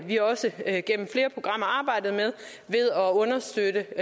vi også igennem flere programmer arbejdet med ved at understøtte